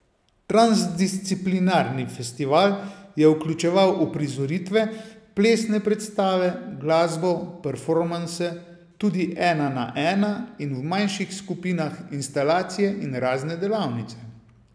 Transdisciplinarni festival je vključeval uprizoritve, plesne predstave, glasbo, performanse, tudi ena na ena in v manjših skupinah, instalacije in razne delavnice.